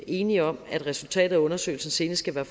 enige om at resultatet af undersøgelsen senest skal være